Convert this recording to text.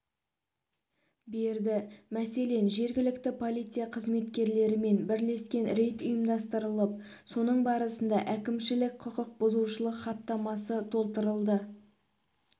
берді мәселен жергілікті полиция қызметкерлерімен бірлескен рейд ұйымдастырылып соның барысында әкімшілік құқық бұзушылық хаттамасы толтырылды